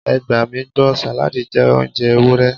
Ẹ gbà mí gbọ́, sàládì jẹ́ oúnjẹ Ewúrẹ́.